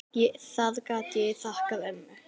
Það get ég þakkað ömmu.